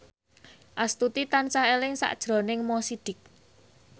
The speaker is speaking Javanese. Astuti tansah eling sakjroning Mo Sidik